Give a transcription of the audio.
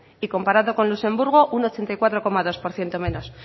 y comparando con luxemburgo un ochenta y cuatro coma dos por ciento menos